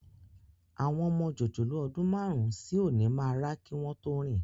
Àwọn ọmọ jòjòló ọdún márùn-ún sí òní máa rá kí wọn tó rìn